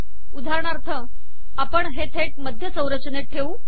उदाहरणार्थ आपण हे थेट मध्य संरचनेत ठेवू